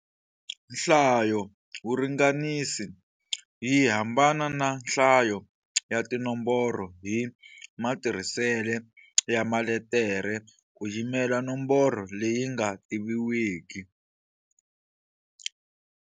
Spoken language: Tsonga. Hlayovuringanisi yi hambana na Nhlayo ya tinomboro hi matirhisele ya maletere ku yimela nomboro leyi nga tiviwiki.